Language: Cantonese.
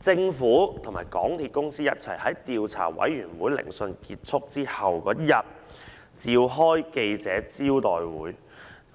政府聯同港鐵公司在調查委員會聆訊結束後翌日召開記者招待會，